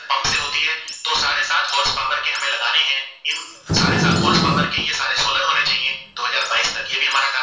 दो हजार बाईस का ये भी हमारा Target